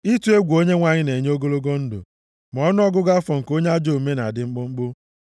Ịtụ egwu Onyenwe anyị na-enye ogologo ndụ, ma ọnụọgụgụ afọ nke onye ajọ omume na-adị mkpụmkpụ.